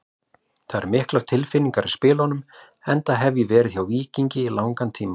Það eru miklar tilfinningar í spilunum enda hef ég verið hjá Víkingi í langan tíma.